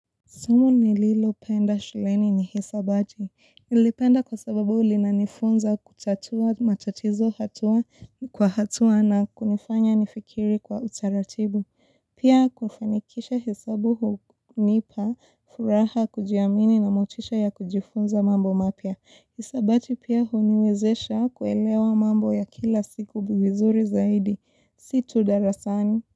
Somo nililopenda shuleni ni hisabati. Nilipenda kwa sababu linanifunza kutatua matatizo hatua kwa hatua na kunifanya nifikiri kwa utaratibu. Pia kufanikisha hesabu hunipa furaha kujiamini na motisha ya kujifunza mambo mapya. Hisabati pia huniwezesha kuelewa mambo ya kila siku vizuri zaidi. Si tu darasani.